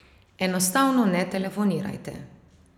Enostavno ne telefonirajte.